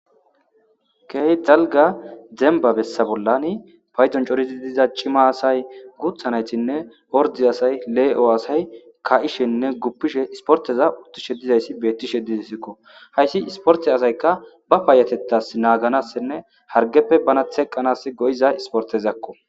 key dzalga dembabessa bollani paydon corizi diza cima asay guthanaytinne ordi asay lee7o asay ka7ishenne guppishe isporteza uttishe dizayssi beetti shedizasikko hayssi isporte asaykka ba paayatettas naaganassinne hargeppe bana theqqanas go7iza isportezakko